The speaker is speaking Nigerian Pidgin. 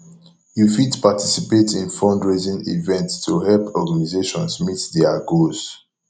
yu fit participate in fundraising events to help organizations meet their goals